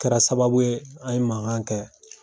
kɛra sababu ye an ye mankan kɛ.